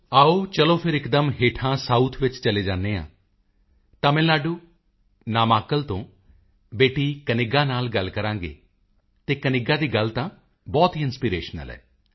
ਆਓ ਚਲੋ ਫਿਰ ਇਕਦਮ ਹੇਠਾਂ ਸਾਊਥ ਵਿੱਚ ਚਲੇ ਜਾਂਦੇ ਹਾਂ ਤਮਿਲ ਨਾਡੂ ਨਾਮਾਕਲ ਤੋਂ ਬੇਟੀ ਕਨਿਗਾ ਨਾਲ ਗੱਲ ਕਰਾਂਗੇ ਅਤੇ ਕਨਿੱਗਾ ਦੀ ਗੱਲ ਤਾਂ ਬਹੁਤ ਹੀ ਇੰਟਰਨੈਸ਼ਨਲ ਹੈ